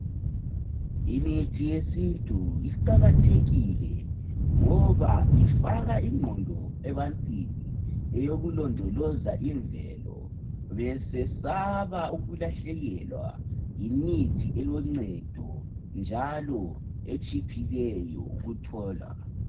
Imithi yesintu iqakathekile, ngoba ifaka ingqondo ebantwini eyokulondoloza imvelo. Besesaba ukulahlekelwa yimithi eloncedo njalo etshiphileyo ukutholwa.